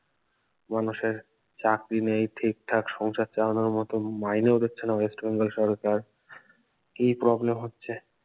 মানুষের চাকরি নেই ঠিক ঠাক সংসার চালানোর মতো মাইনে ও দিচ্ছে না ওয়েস্ট বেঙ্গল সরকার কি problem হচ্ছে